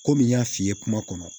Komi n y'a f'i ye kuma kɔnɔ